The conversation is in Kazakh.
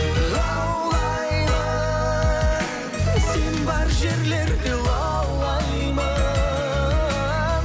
лаулаймын сен бар жерлерде лаулаймын